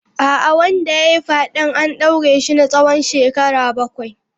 A'a, wanda ya yi fyaden an daure shi na tsawon shekaru bakwai.